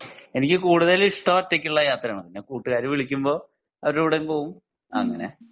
എനിക്ക് കൂടുതൽ ഇഷ്ടം ഒറ്റക്കുള്ള യാത്ര ആണ് പിന്നെ കൂട്ടുകാർ വിളിക്കുമ്പോ അവരെ കൂടെ അങ്ങിനെ പോകും അങ്ങിനെ